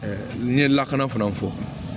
n'i ye lakana fana fɔ